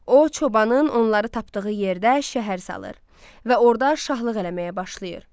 O çobanın onları tapdığı yerdə şəhər salır və orda şahlıq eləməyə başlayır.